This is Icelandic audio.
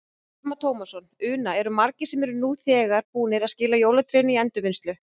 Telma Tómasson: Una, eru margir sem eru nú þegar búnir að skila jólatrénu í endurvinnslu?